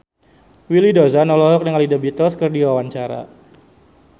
Willy Dozan olohok ningali The Beatles keur diwawancara